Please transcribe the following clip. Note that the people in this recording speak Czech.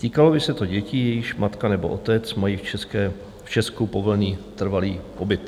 Týkalo by se to dětí, jejichž matka nebo otec mají v Česku povolený trvalý pobyt.